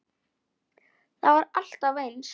Það var alltaf eins.